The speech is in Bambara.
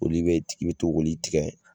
Olu be i be to k'olu tigɛ